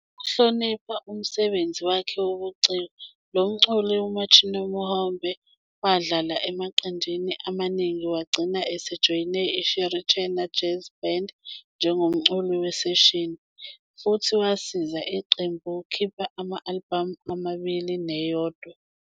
Ukuhlonipha umsebenzi wakhe wobuciko, lo mculi 'uMuchinamuhombe', wadlala emaqenjini amaningi wagcina esejoyine iShirichena Jazz Band njengomculi weseshini, futhi wasiza iqembu ukukhipha ama-albhamu amabili neyodwa.